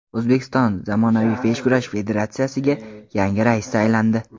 O‘zbekiston zamonaviy beshkurash federatsiyasiga yangi rais saylandi.